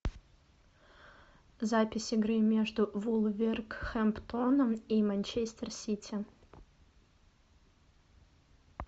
запись игры между вулверхэмптоном и манчестер сити